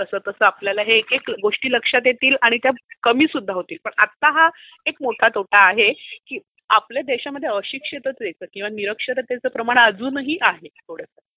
तसतसा आपल्याला ह्या गोष्टी लक्षात येतील आणि त्या कमी सुद्धा होतील पण आता हा मोठा तोटा आहे कारण आपल्या देशामध्ये अशिक्षितचं किंवा निरक्षरतेचं प्रमाण जास्त आहे.